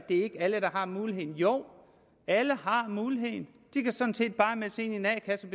alle der har muligheden jo alle har muligheden de kan sådan set bare melde sig ind i en a kasse